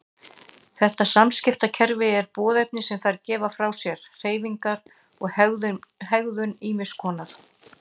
Þetta samskiptakerfi eru boðefni sem þær gefa frá sér, hreyfingar og hegðun ýmiss konar.